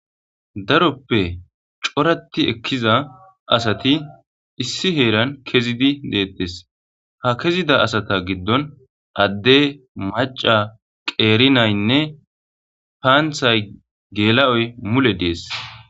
Daroppe co,rati ekiza asati issi heran kezidi de,etes ha kezida asa gidon ade ma,ca qeri nayine pantayi gelayoyi mule de,ees